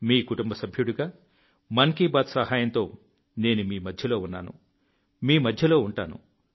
మీ కుటుంబ సభ్యుడిగా మన్ కీ బాత్ సహాయంతో నేను మీ మధ్యలో ఉన్నాను మీ మధ్యలో ఉంటాను